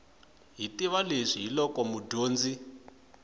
hi tiva leswi hiloko mudyondzi